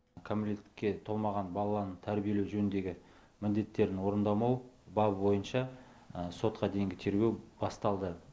кәмелетке толмаған баланы тәрбиелеу жөніндегі міндеттерін орындамау бабы бойынша сотқа дейінгі тергеу басталды